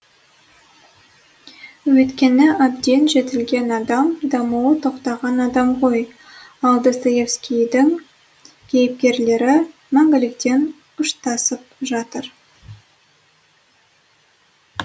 өйткені әбден жетілген адам дамуы тоқтаған адам ғой ал достоевскийдің кейіпкерлері мәңгілікпен ұштасып жатыр